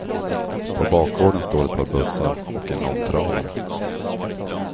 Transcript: På bakgården står ett par bussar och en långtradare.